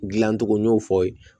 Dilancogo n y'o fɔ yen